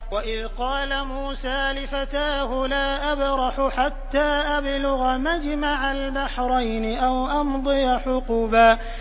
وَإِذْ قَالَ مُوسَىٰ لِفَتَاهُ لَا أَبْرَحُ حَتَّىٰ أَبْلُغَ مَجْمَعَ الْبَحْرَيْنِ أَوْ أَمْضِيَ حُقُبًا